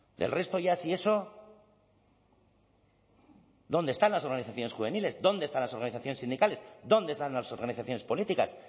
del resto ya si eso dónde están las organizaciones juveniles dónde están las organizaciones sindicales dónde están las organizaciones políticas